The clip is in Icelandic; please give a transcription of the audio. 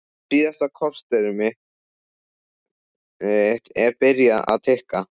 Síðasta korterið mitt er byrjað að tikka.